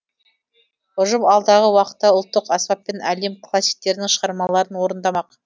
ұжым алдағы уақытта ұлттық аспаппен әлем классиктерінің шығармаларын орындамақ